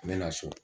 N bɛ na so